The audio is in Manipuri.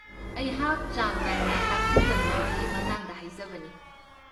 ꯑꯩꯍꯥꯛ ꯆꯥꯡ ꯅꯥꯏꯅ ꯇꯥꯛꯄꯤ ꯇꯝꯕꯤꯕꯒꯤ ꯃꯇꯥꯡꯗ ꯍꯥꯏꯖꯕꯅꯤ꯫